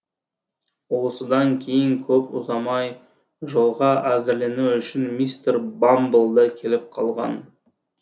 осыдан кейін көп ұзамай жолға әзірлену үшін мистер бамбл да келіп қалған